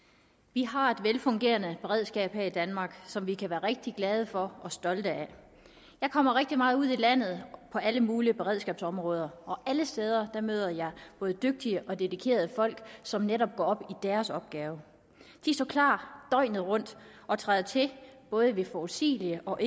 vi har et velfungerende beredskab her i danmark som vi kan være rigtig glade for og stolte af jeg kommer rigtig meget ud i landet på alle mulige beredskabsområder og alle steder møder jeg både dygtige og dedikerede folk som netop går op i deres opgave de står klar døgnet rundt og træder til både ved forudsigelige og